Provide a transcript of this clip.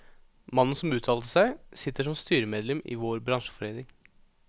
Mannen som uttalte seg, sitter som styremedlem i vår bransjeforening.